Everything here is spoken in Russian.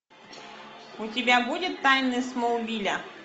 у тебя будет тайны смолвиля